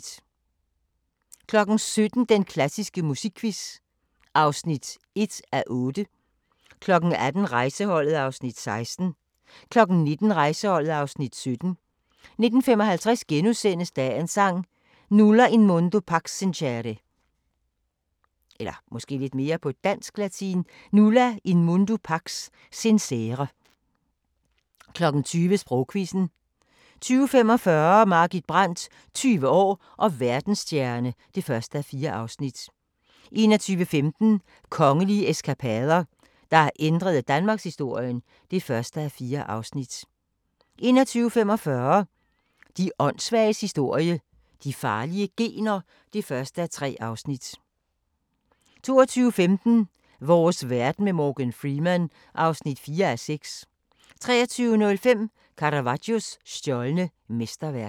17:00: Den klassiske musikquiz (1:8) 18:00: Rejseholdet (Afs. 16) 19:00: Rejseholdet (Afs. 17) 19:55: Dagens Sang: Nulla in mundo pax sincere * 20:00: Sprogquizzen 20:45: Margit Brandt – 20 år og verdensstjerne (1:4) 21:15: Kongelige eskapader – der ændrede danmarkshistorien (1:4) 21:45: De åndssvages historie – de farlige gener (1:3) 22:15: Vores verden med Morgan Freeman (4:6) 23:05: Caravaggios stjålne mesterværk